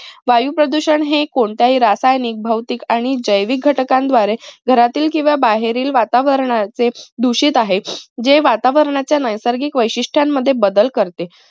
वायू प्रदूषण हे कोणत्याही रासायनिक, भौतिक आणि जैविक घटकांद्वारे घरातील किंव्हा बाहेरील वातावरणाचे दूषित आहे. जे वातावरणाच्या नैसर्गिक वैशिष्ट्यांमध्ये बदल करते.